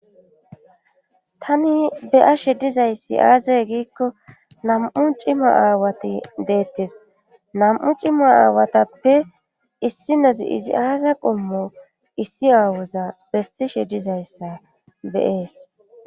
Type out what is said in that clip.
tani be'ashe dizayssi aaze giikko nam'u cima aawati deettes nam'u cima aawatappe issinozi izi aaza qommo issi aawoza besishe dizayssa de'ees